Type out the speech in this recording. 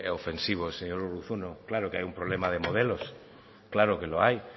ofensivo señor urruzuno claro que hay un problema de modelos claro que lo hay